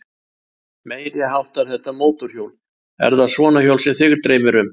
Meiriháttar þetta mótorhjól. er það svona hjól sem þig dreymir um?